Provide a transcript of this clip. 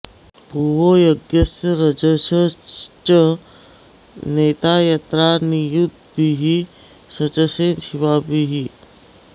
भुवो॑ य॒ज्ञस्य॒ रज॑सश्च ने॒ता यत्रा॑ नि॒युद्भिः॒ सच॑से शि॒वाभिः॑